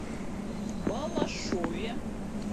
балашове